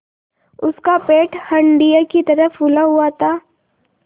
उसका पेट हंडिया की तरह फूला हुआ था